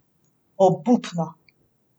Obupno.